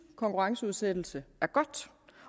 konkurrenceudsættelse er godt